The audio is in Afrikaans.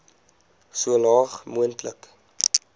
so laag moontlik